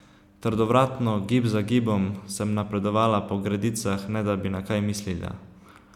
Trdovratno, gib za gibom, sem napredovala po gredicah, ne da bi na kaj mislila.